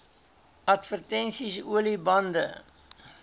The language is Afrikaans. advertensies olie bande